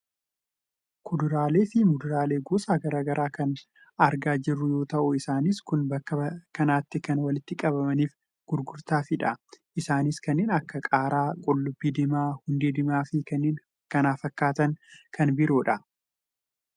Kuduraalee fi muduraalee gosa gara garaa argaa kan jiru yoo ta'u, isaan kunis bakka kanatti kan walitti qabamaniif gurgurtaafidha. isaanis kanneen akka qaaraa, qullubbii diimaa, hundee diimaafi kanneen kana fakkaatan kan biroodha.